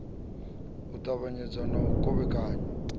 u ṱavhanyezwa na u kovhekanywa